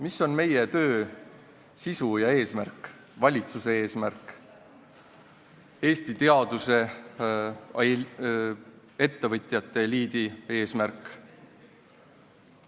Mis on meie töö sisu ja eesmärk, valitsuse eesmärk, Eesti teaduse, ettevõtjate eliidi eesmärk?